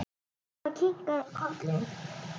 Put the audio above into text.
Dóra kinkaði kolli.